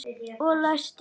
Og læsti.